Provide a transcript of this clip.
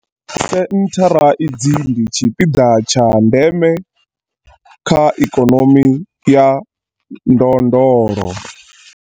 Senthara idzi ndi tshipiḓa tsha ndeme kha ikonomi ya ndondolo.